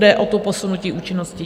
Jde o to posunutí účinnosti.